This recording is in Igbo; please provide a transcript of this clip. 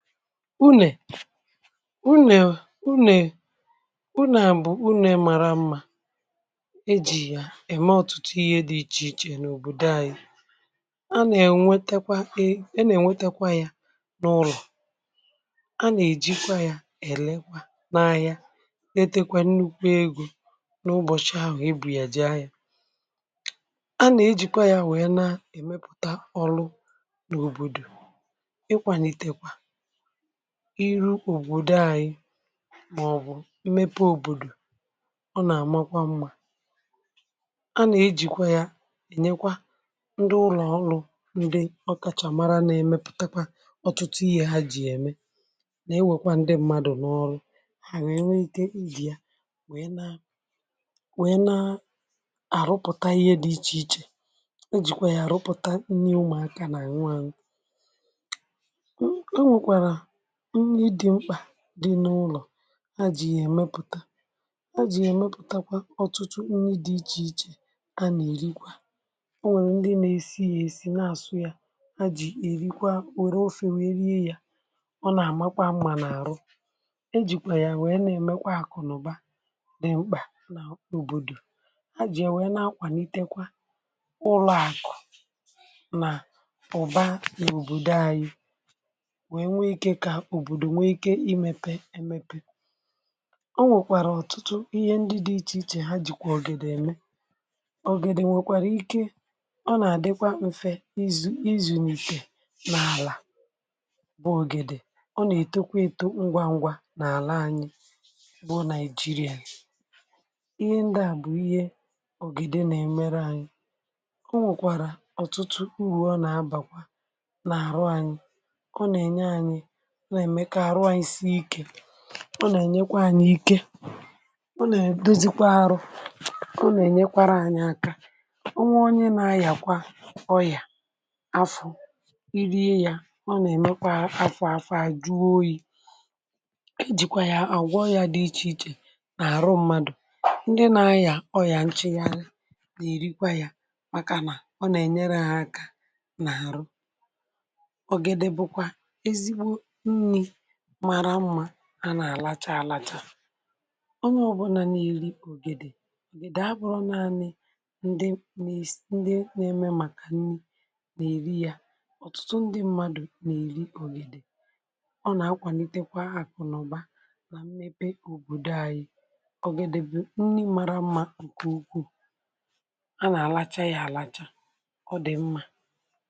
Unè, unè, unè bụ nà bụ unè. Màrà mma! Ejì ya ème ọ̀tụtụ ihe dị iche iche n’òbòdo anyị. A nà-ènwetakwa ya n’ụlọ̀, a nà-èjikwa ya èlekwa n’ahịa, eketekwa nnukwu ego n’ụbọ̀chị̀ ahụ̀ ibù ya ji ahịà. A nà-ejikwa ya nwe um na-èmepùta ọrụ n’òbòdò, ikwàlìtekwa iri ògbòde anyị, màọbụ̀ imepe òbòdò. Ọ nà-àmakwa mma. A nà-ejikwa ya ènyekwa ndị ụlọ̀ ọlụ̀ um ndị ọkachàmà na-emepùtakwa ọtụtụ ihe, ha jì ème, na-ewekwa ndị mmadụ̀ n’ọlụ̇. Ha nwekwara ike ịli ya, wèe na-àrụpụ̀ta ihe dị iche iche. O jìkwa ya àrụpụ̀ta nnyi, ụmụ̀aka nà nwaàrụ um nì dị mkpà dị n’ụlọ̀. Ha jì ya èmepùta, ha jì ya èmepùtakwa ọtụtụ nri dị iche iche, ha nà-èrikwa. Ọ nwèrè ndị nà-èsi ya, èsi, na àsù ya, ha jì èrikwa wère ofè, wère yè ya. Ọ nà-àmakwa mma n’àrụ um e jìkwà ya wèe na-èmèkwa àkụ̀nụ̀ba nà mkpà n’òbòdò. Ha jì ya wèe na-akwà, n’itekwa ụlọ̇ àkụ̀ nà ụ̀ba n’èbòdo anyị. Òbòdò nwe ike imepe, ẹmẹpẹ. Ọ nwèkwara ọtụtụ ihe ndị dị iche iche. Ha dịkwa ọ̀gèdè. Ẹmẹ, ọ̀gèdè nwekwara ike. Ọ nà-àdịkwa mfe um izu̇, izùnìtè n’àlà. Bụ̀ ọ̀gèdè, ọ nà-ètekwa eto ngwa ngwa n’àla anyị bụ̀ Nàịjìrìà. Ihe ndị a bụ̀ ihe ọ̀gèdè nà-èmere anyị. Ọ nwèkwara ọtụtụ uru Ọ nà-abàkwa n’àrụ anyị. Ọ nà-ènyekwa anyị ike. Ọ nà-èdozikwa arụ. Ọ nà-ènyekwarà anyị aka. Ọ nweghị onye na-ayàkwa ọyà afọ(um) i rie ya. Ọ nà-èmekwa afọ̀ afọ̀ àjụ oyi̇. E jìkwa ya àgwọ ọyà dị iche iche,.. nà àrụ mmadụ̀, ndị na-ayà ọyà nchì. Yà, anyị nà-èrikwa ya, màkànà ọ nà-ènyere ha aka, n’àrụ màrà mma. A nà-àlacha, àlacha. um Ọ bụ̀ na na-èri ọ̀gèdè, ọ̀gèdè abụrọ̇ naanị̇ ndị nèsì, ndị nà-ème, màkà nri. Nà-èri ya, ọ̀tụtụ ndị mmadụ̀ nà-èri ọ̀gèdè. Ọ nà-akwànitekwa àkụ̀nụ̀ba nà mmepe òbòdò anyị. Ọ gà-èdebe nni màrà mma, ǹkè ukwu. A nà-àlacha ya, àlacha. Ọ dị̀ mma!